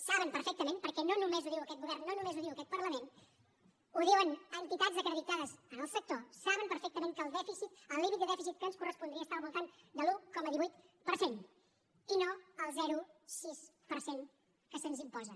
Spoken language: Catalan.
saben perfectament perquè no només ho diu aquest govern no només ho diu aquest parlament ho diuen entitats acreditades en el sector que el dèficit el límit de dèficit que ens correspondria està al voltant de l’un coma divuit per cent i no el zero coma sis per cent que se’ns imposa